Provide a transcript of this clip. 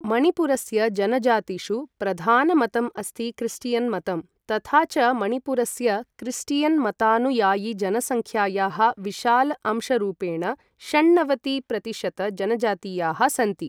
मणिपुरस्य जनजातिषु प्रधान मतम् अस्ति क्रिस्टियन् मतं, तथा च मणिपुरस्य क्रिस्टियन् मतानुयायिजन सङ्ख्यायाः विशाल अंशरूपेण षण्णवति प्रतिशत जनजातीयाः सन्ति।